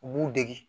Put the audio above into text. U b'u dege